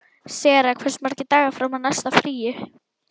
Sera, hversu margir dagar fram að næsta fríi?